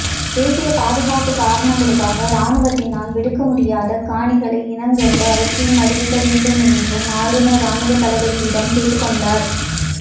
தேசிய பாதுகாப்பு காரணங்களுக்காக இராணுவத்தினால் விடுவிக்க முடியாத காணிகளை இனங்கண்டு அவற்றையும் அறிவிக்கவேண்டும் என்றும் ஆளுநர் இராணுவத்தளபதியிடம் கேட்டுக்கொண்டார்